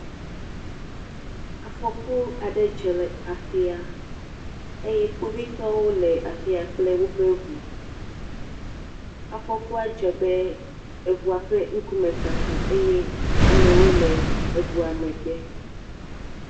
Afɔku aɖe dzɔ le afi ya eye kpovitƒwo le afi ya kple woƒe ŋu. Afɔkua dzɔ be eŋua ƒe ŋkume kaka eye amewo le eŋua megbe.